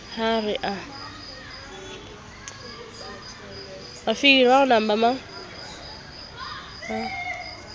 ha re a phekgohe a